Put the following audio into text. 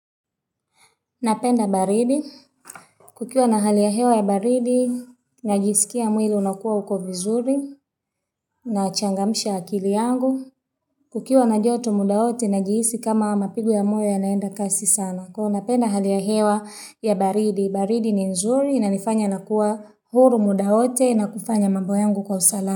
Napenda baridi. Kukiwa na hali ya hewa baridi, najisikia mwili unakuwa uko vizuri. Nachangamisha akili yangu. Kukiwa na joto muda wote, najihisi kama mapigo ya moyo yanaenda kasi sana. Kuwa napenda hali ya hewa ya baridi. Baridi ni nzuri, inanifanya nakuwa huru muda wote, na kufanya mambo yangu kwa usalama.